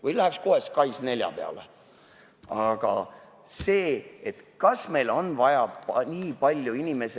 Või läheks kohe SKAIS4 juurde?